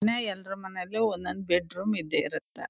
ಎಲ್ರು ಮನೇಲಿ ಒಂದ್ ಒಂದು ಬೆಡ್ರೂಮ್ ಇದ್ದೆ ಇರುತ್ತೆ.